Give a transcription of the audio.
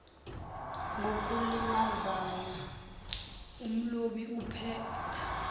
ngokulimazana umlobi uphetha